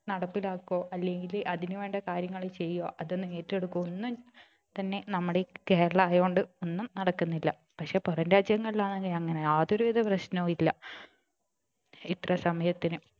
നടപ്പിലാകുകയോ അല്ലെങ്കില് അതിനു വേണ്ട കാര്യങ്ങൾ ചെയ്യുകയോ അതോന്നും ഏറ്റെടുക്കുകയോ ഒന്നും തന്നെ നമ്മുടെ ഈ കേരളം ആയോണ്ട് ഒന്നും നടക്കുന്നില്ല പക്ഷെ പുറം രാജ്യങ്ങളിലാണെങ്കിൽ അങ്ങനെ യാതൊരുവിധ പ്രശ്നവും ഇല്ല ഇത്ര സമയത്തിന്